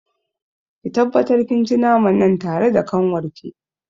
Ki tabbatar kin ci naman nan tare da kanwarki.